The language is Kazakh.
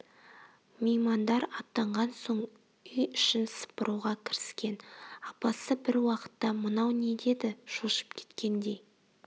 меймандар аттанған соң үй ішін сыпыруға кіріскен апасы бір уақытта мынау не деді шошып кеткендей